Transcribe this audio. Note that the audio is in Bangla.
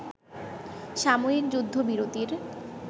সাময়িক যুদ্ধবিরতির